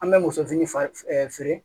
An bɛ muso fini fa feere